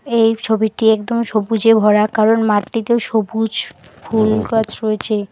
এই ছবিটি একদম সবুজে ভরা কারণ মাঠটিতেও সবুজ ফুল গাছ রয়েছে।